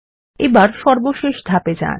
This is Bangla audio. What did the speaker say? এবার সর্বশেষ ধাপে যান